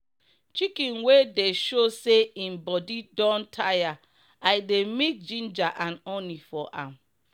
chicken wey dey show say im bodi don tire i dey mix ginger and honey for am.